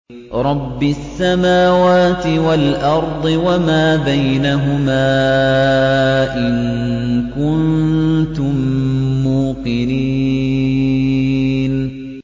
رَبِّ السَّمَاوَاتِ وَالْأَرْضِ وَمَا بَيْنَهُمَا ۖ إِن كُنتُم مُّوقِنِينَ